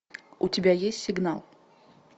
у тебя есть сигнал